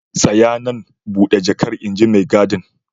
Tsaya nan, bude jakar inji maigadin.